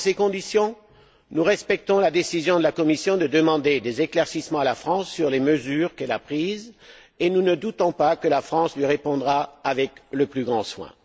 Dans ces conditions, nous respectons la décision de la Commission de demander des éclaircissements à la France sur les mesures qu'elle a prises et nous ne doutons pas que la France lui répondra avec le plus grand soin.